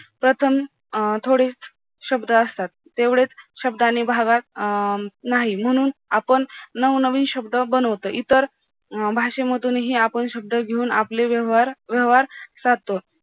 प्रथम अं थोडे शब्द असतात तेवढेच शब्दाने भागात अं नाही म्हणून आपण नवनवीन शब्द बनवतो, इतर अं भाषेमधूनही आपण शब्द घेऊन आपले व्यवहार व्यवहार